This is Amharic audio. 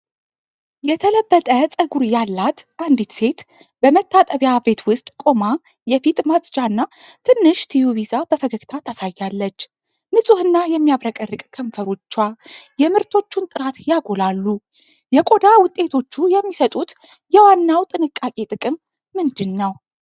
የተለበጠ ፀጉር ያላት አንዲት ሴት በመታጠቢያ ቤት ውስጥ ቆማ የፊት ማጽጃ እና ትንሽ ቲዩብ ይዛ በፈገግታ ታሳያለች። ንፁህና የሚያብረቀርቅ ከንፈሮቿ የምርቶቹን ጥራት ያጎላሉ። የቆዳ ውጤቶቹ የሚሰጡት የዋናው ጥንቃቄ ጥቅም ምንድነው?